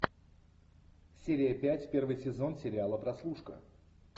серия пять первый сезон сериала прослушка